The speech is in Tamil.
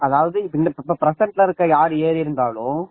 அதாவது present ல இருக்கிற யார் ஏறி இருந்தாலும்